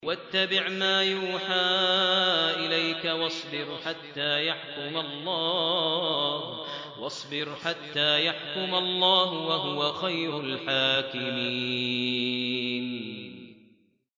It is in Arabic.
وَاتَّبِعْ مَا يُوحَىٰ إِلَيْكَ وَاصْبِرْ حَتَّىٰ يَحْكُمَ اللَّهُ ۚ وَهُوَ خَيْرُ الْحَاكِمِينَ